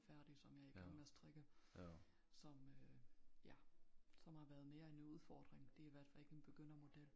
Færdig som jeg i gang med at strikke som øh ja som har været mere end en udfordring det i hvert fald ikke en begyndermodel